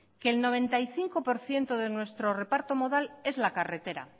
que el noventa y cinco por ciento de nuestro reparto modal